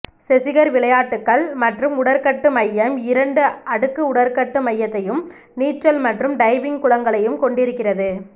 செஸிகர் விளையாட்டுக்கள் மற்றும் உடற்கட்டு மையம் இரண்டு அடுக்கு உடற்கட்டு மையத்தையும் நீச்சல் மற்றும் டைவிங் குளங்களையும் கொண்டிருக்கிறது